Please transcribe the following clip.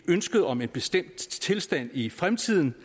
ønsket om en bestemt tilstand i fremtiden